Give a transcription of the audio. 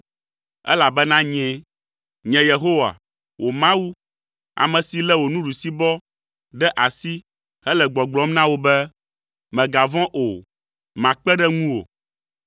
elabena nyee. Nye Yehowa, wò Mawu, ame si lé wò nuɖusibɔ ɖe asi hele gbɔgblɔm na wò be ‘Mègavɔ̃ o, makpe ɖe ŋuwò.’